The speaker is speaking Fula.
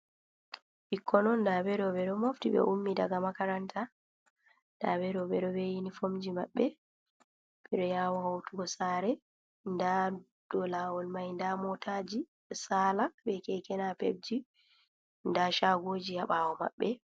Ɓikkon on nda ɓe ɗo mofti, ɓe ummi daga makaranta nda ɓe ɗo ɓeɗo be yinifomji maɓɓe ɓeɗo yabawa hotugo saare, nda do laawol mai ɗon motaji e saala be Keke napepji nda shagoji haa ɓaawo maɓɓe.